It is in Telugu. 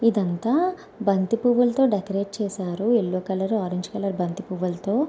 ఇదంతా బంతి పూవులుతో డెకరేట్ చేసారు. యెల్లో కలర్ ఆరంజ్ కలర్ బంతి పువ్వులతో.